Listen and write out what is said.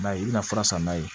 I b'a ye i bɛna fura san n'a ye